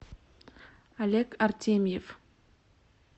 олег артемьев